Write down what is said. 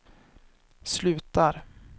slutar